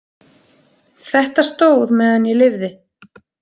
Þetta stóð meðan ég lifði.